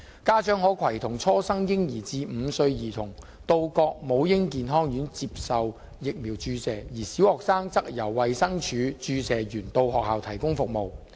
家長可攜同初生嬰兒至5歲兒童到各母嬰健康院接受疫苗注射，而小學生則由衞生署注射員到學校提供服務。